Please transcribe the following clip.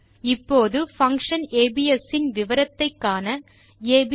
இப்போது function ABS இன் விவரத்தை காண ஏபிஎஸ்